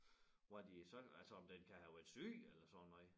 Hvad de så altså om den kan have været syg eller sådan noget